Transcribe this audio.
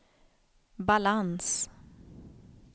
balans